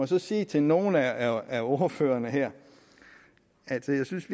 så sige til nogle af ordførerne her at jeg synes